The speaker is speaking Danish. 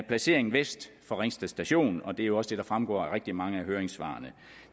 placeringen vest for ringsted station og det er jo også det der fremgår af rigtig mange af høringssvarene